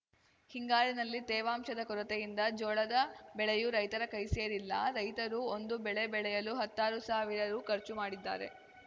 ಹಿಂಗಾರಿನಲ್ಲಿ ತೇವಾಂಶದ ಕೊರತೆಯಿಂದ ಜೋಳದ ಬೆಳೆಯೂ ರೈತರ ಕೈಸೇರಿಲ್ಲ ರೈತರು ಒಂದು ಬೆಳೆ ಬೆಳೆಯಲು ಹತ್ತಾರು ಸಾವಿರ ರು ಖರ್ಚು ಮಾಡಿದ್ದಾರೆ